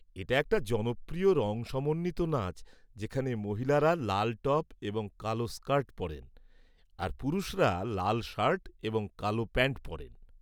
এটা একটা জনপ্রিয় রঙ সমন্বিত নাচ যেখানে মহিলারা লাল টপ এবং কালো স্কার্ট পরেন, আর পুরুষরা লাল শার্ট এবং কালো প্যান্ট পরেন।